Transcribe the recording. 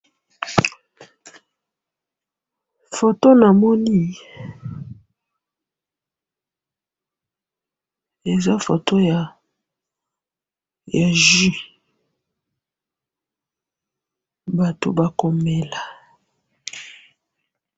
photo namoni eza photo ya jus batu bako mela